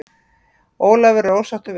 Ólafur er ósáttur við þetta.